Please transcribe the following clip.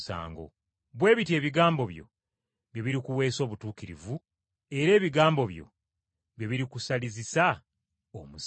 Bwe bityo ebigambo byo bye birikuweesa obutuukirivu era ebigambo byo bye birikusalizisa omusango.”